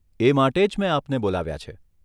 એ માટે જ મેં આપને બોલાવ્યા છે.